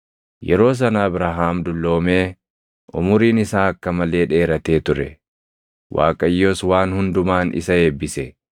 Yeroo sana Abrahaam dulloomee, umuriin isaa akka malee dheeratee ture; Waaqayyos waan hundumaan isa eebbise.